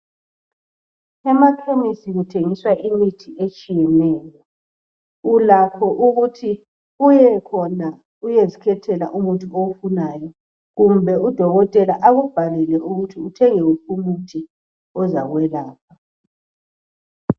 emakhemesi kuthengiswa imithi etshiyeneyo ulakho ukuthi uyekhona uyezikethela umuthi owufunayo kumbe u dokotela akubhalele ukuthi uthenge uphi umuthi ozakwelapha